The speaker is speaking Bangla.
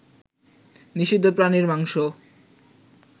নিষিদ্ধ প্রাণীর মাংস